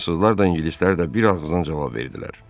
Fransızlar da ingilislər də bir ağızdan cavab verdilər.